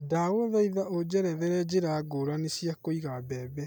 ndagũthaitha ũnjererethere njĩra ngũrani cia Kũiga bembe